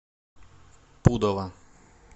пудова